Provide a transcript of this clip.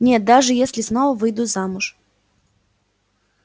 нет даже если снова выйду замуж